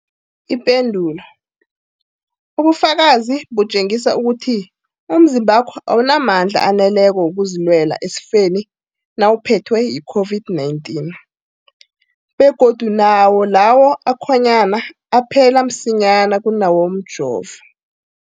Ipendulo, ubufakazi butjengisa ukuthi umzimbakho awunamandla aneleko wokuzilwela esifeni nawuphethwe yi-COVID-19, begodu nawo lawo akhonyana aphela msinyana kunawomjovo.